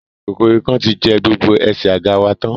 Kòkòrò ikán ti jẹ́ gbogbo ẹsẹ̀ àga wa tán